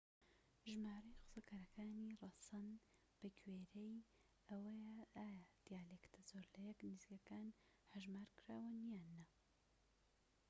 ژمارەی قسەکەرانی ڕەسەن بەگوێرەی ئەوەیە ئایا دیالێکتە زۆر لە یەک نزیکەکان هەژمار کراون یان نا